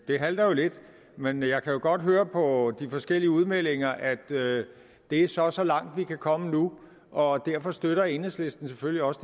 det halter jo lidt men jeg kan godt høre på de forskellige udmeldinger at det så er så langt vi kan komme nu og derfor støtter enhedslisten selvfølgelig også